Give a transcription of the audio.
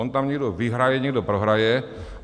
On tam někdo vyhraje, někdo prohraje.